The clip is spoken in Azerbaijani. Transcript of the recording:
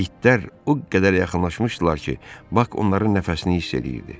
İtlər o qədər yaxınlaşmışdılar ki, Bak onların nəfəsini hiss eləyirdi.